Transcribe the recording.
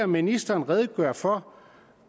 ministeren redegøre for